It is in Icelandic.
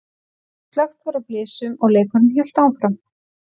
Slökkt var á blysunum og leikurinn hélt áfram.